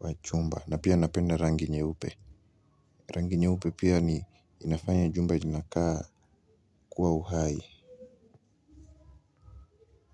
wa chumba na pia napenda rangi nyeupe. Rangi nyeupe pia ni inafanya jumba inakaa kuwa uhai.